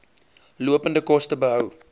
lopende koste beskou